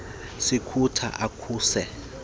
sikulo akusekho kufihla